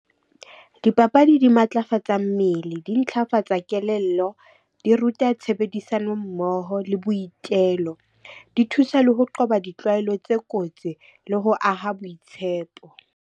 Dipapadi di matlafatsa mmele, di ntlafatsa kelello, di ruta tshebedisano mmoho le boitelo. Di thusa le ho qoba ditlwaelo tse kotsi le ho aha boitshepo.